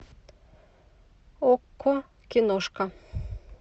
окко киношка